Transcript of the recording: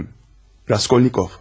Mənim Raskolnikov.